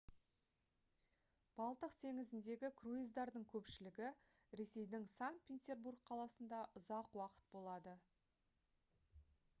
балтық теңізіндегі круиздардың көпшілігі ресейдің санкт-петербург қаласында ұзақ уақыт болады